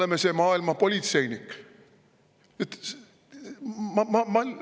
Me oleme maailma politseinikud!?